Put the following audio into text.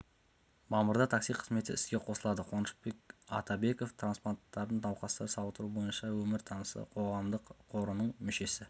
мамырда такси қызметі іске қосылады қуанышбек атабеков трансплантанттық науқастарды сауықтыру бойынша өмір тынысы қоғамдық қорының мүшесі